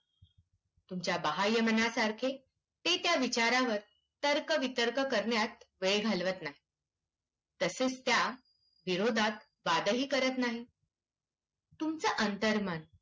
तुमच्या बाह्यमनासारखे ते त्या विचारांवर तर्कवितर्क करण्यात वेळ घालवत नाही. तसेच त्या विरोधात वादही करत नाही. तुमचं अंतर्मन